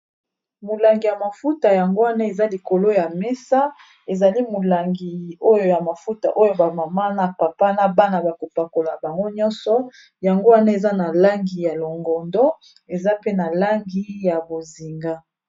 Molangi ya mafuta yango wana eza likolo ya mesa ezali molangi oyo ya mafuta oyo ba mama na papa na bana bakopakola bango nyonso yango wana eza na langi ya longondo eza pe na langi ya bozinga.